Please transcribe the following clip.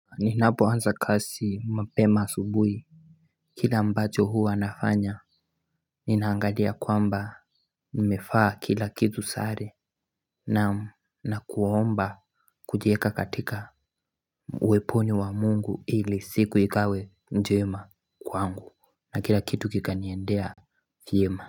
Ninapo lanza kazi mapema asubuhi kile ambacho huwa nafanya ninaangalia kwamba nimevaa kila kitu sare. Naam, na kuomba kujiweka katika uweponi wa Mungu ili siku ikawe njema kwangu, na kila kitu kikaniendea vyema.